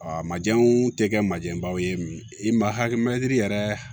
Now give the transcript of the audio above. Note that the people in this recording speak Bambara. A ma janw tɛ kɛ majɛbaw ye i ma hakili mɛtiri yɛrɛ